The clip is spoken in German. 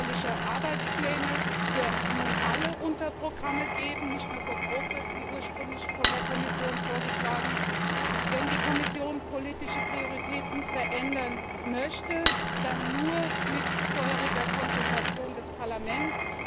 Es wird nun jährliche Arbeitspläne für alle Unterprogramme geben, nicht nur für PROGRESS wie ursprünglich von der Kommission vorgeschlagen. Wenn die Kommission politische Prioritäten verändern möchte, dann nur mit vorheriger Konsultation des Parlaments.